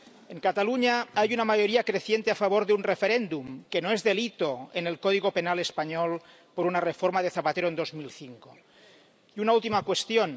En Cataluña hay una mayoría creciente a favor de un referéndum, que no es delito en el Código Penal español por una reforma de Zapatero en 2005. Y una última cuestión.